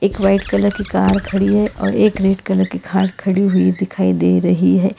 एक white colour की car खड़ी है और एक रेड कलर की कार खड़ी हुई दिखाई दे रही है।